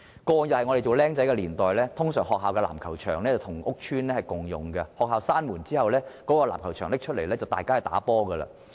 過往我年輕的時候，一般學校的籃球場跟屋邨共用，學校關門後，籃球場便會開放讓大家玩籃球。